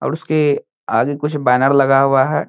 और उसके आगे कुछ बैनर लगा हुआ है।